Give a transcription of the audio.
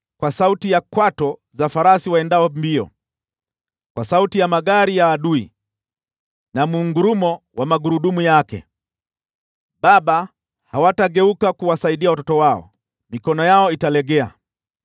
kwa sauti ya kwato za farasi waendao mbio, kwa sauti ya magari ya adui na mngurumo wa magurudumu yake. Baba hawatageuka kuwasaidia watoto wao, mikono yao italegea.